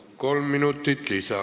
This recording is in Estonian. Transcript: Kolm minutit lisa.